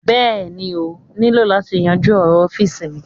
Béèni ọ̀ niló lati yanju òrò ofin mí